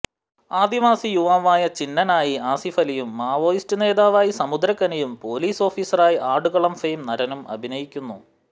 ആദിവാസി യുവാവായ ചിന്നനായി ആസിഫ് അലിയും മാവോയിസ്റ്റ് നേതാവായി സമുദ്രക്കനിയും പൊലീസ് ഓഫിസറായി ആടുകളം ഫെയിം നരനും അഭിനയിക്കുന്നു